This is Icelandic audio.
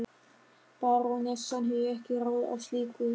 Barónessan hefur ekki ráð á slíku.